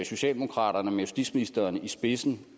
socialdemokraterne med justitsministeren i spidsen